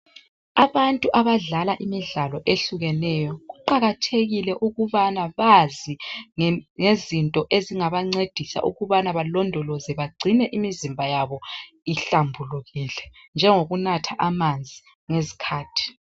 Abantu abadlala imidlalo eyehlukeneyo kuqakathekile ukubana bazi ngem ngezinto ezingabancedisa ukubana balondoloze bagcine imizimba yabo ihlambulukile njengokunatha amanzi ngezikhathi.